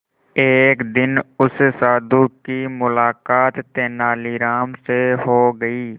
एक दिन उस साधु की मुलाकात तेनालीराम से हो गई